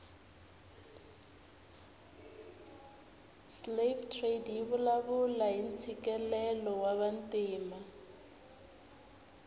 slave trade yivulavula hhintsikelelo wavantima